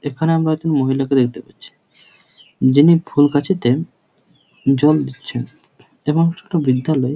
এখানে আমরা একটা মহিলাকে দেখতে পাচ্ছি যিনি ফুলগাছেতে জল দিচ্ছেন এবং ছোট বিধ্ধা লো--